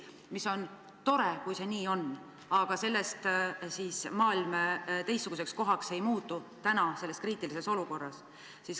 See on tore, kui see nii on, aga sellest maailm teistsuguseks kohaks ei muutu, täna, selles kriitilises olukorras.